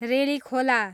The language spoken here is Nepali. रेलीखोला